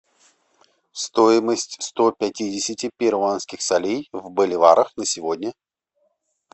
стоимость сто пятидесяти перуанских солей в боливарах на сегодня